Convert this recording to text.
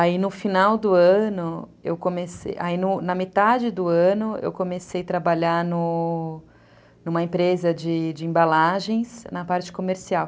Aí no final do ano, na metade do ano, eu comecei a trabalhar no... no... numa empresa de embalagens, na parte comercial.